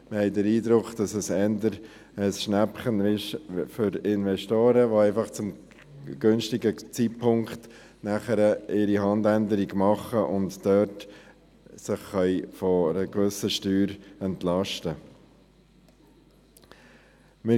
Wir haben den Eindruck, dass es eher ein Schnäppchen für Investoren ist, die einfach zum günstigen Zeitpunkt ihre Handänderung machen und sich dort von einer gewissen Steuer entlasten wollen.